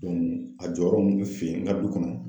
a jɔyɔrɔ ninnu bɛ fin n ka du kɔnɔ.